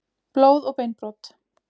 Blóð og beinbrot.